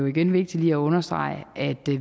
igen vigtigt lige at understrege at